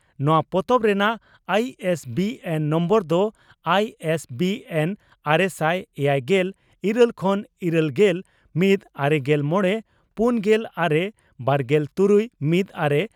ᱱᱚᱣᱟ ᱯᱚᱛᱚᱵ ᱨᱮᱱᱟᱜ ᱟᱭᱤᱹᱮᱥᱹᱵᱤᱹᱮᱱᱹ ᱱᱚᱢᱵᱚᱨ ᱫᱚ ᱟᱭ ᱮᱥ ᱵᱤ ᱮᱱ ᱟᱨᱮᱥᱟᱭ ᱮᱭᱟᱭᱜᱮᱞ ᱤᱨᱟᱹᱞ ᱠᱷᱚᱱ ᱤᱨᱟᱹᱞᱜᱮᱞ ᱢᱤᱛ ᱼᱟᱨᱮᱜᱮᱞ ᱢᱚᱲᱮ ᱯᱩᱱᱜᱮᱞ ᱟᱨᱮ ᱵᱟᱨᱜᱮᱞ ᱛᱩᱨᱩᱭ ᱼᱢᱤᱛ ᱟᱨᱮ